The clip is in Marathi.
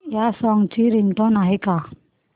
या सॉन्ग ची रिंगटोन आहे का